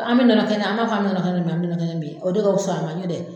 An bɛ nɔnɔkɛnɛ ,an b'a fɔ an bɛ nɔnɔkɛnɛ min, ani bi nɔnɔkɛnɛ min o de ka fis'a ma nɔtɛ.